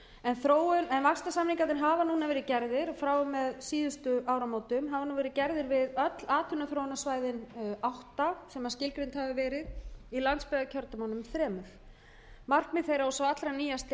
en vaxtarsamningarnir hafa núna verið gerðir frá og með síðustu áramótum hafa verið gerðir við öll atvinnuþróunarsvæðin átta sem skilgreind hafa verið í landsbyggðakjördæmunum þremur sú allra nýjasta er á suðurnesjum og þá erum